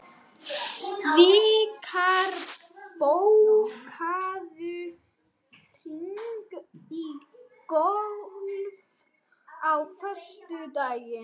Vikar, bókaðu hring í golf á föstudaginn.